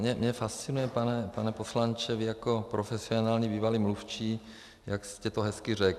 Mě fascinuje, pane poslanče, vy jako profesionální bývalý mluvčí, jak jste to hezky řekl.